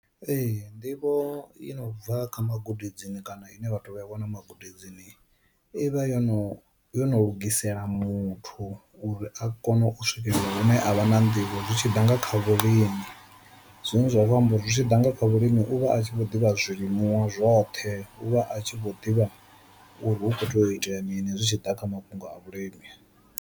Ee nḓivho i no bva kha magudedzini kana une vhathu vha a wana magudedzini i vha yo no yo no lugisela muthu uri a kone u swikelela hune a vha na nḓivho zwi tshi ḓa nga kha vhulimi, zwine zwa amba uri zwi tshi ḓa nga kha vhulimi u vha a tshi vho ḓivha zwilimiwa zwoṱhe u vha a tshi vho ḓivha uri hu kho to itela mini zwi tshi ḓa kha mafhungo a vhulimi.